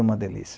uma delícia.